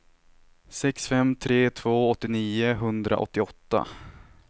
sex fem tre två åttionio etthundraåttioåtta